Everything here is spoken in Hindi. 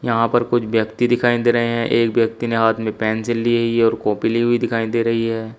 यहां पर कुछ व्यक्ति दिखाई दे रहे हैं। एक व्यक्ति ने हाथ में पेंसिल ली हई है और कॉपी ली हुई दिखाई दे रही है।